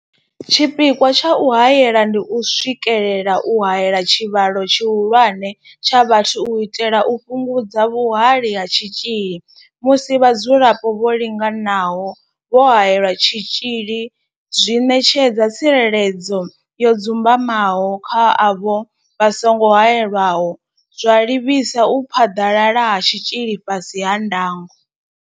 Tshipikwa tsha u haela ndi u swikelela u haela tshivhalo tshihulwane tsha vhathu u itela u fhungudza vhuhali ha tshitzhili musi vhadzulapo vho linganaho vho haelelwa tshitzhili zwi ṋetshedza tsireledzo yo dzumbamaho kha avho vha songo haelwaho, zwa livhisa u phaḓalala ha tshitzhili fhasi ha ndango.